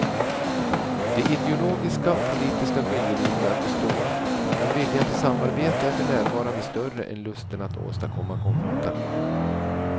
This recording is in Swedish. De ideologiska och politiska skiljelinjerna består men viljan till samarbete är för närvarande större än lusten att åstadkomma konfrontation.